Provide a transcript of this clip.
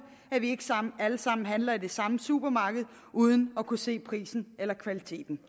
at de ikke alle sammen handler i det samme supermarked uden at kunne se prisen eller kvaliteten